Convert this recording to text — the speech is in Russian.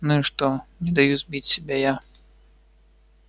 ну и что не даю сбить себя я